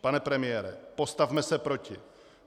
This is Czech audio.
Pane premiére, postavme se proti.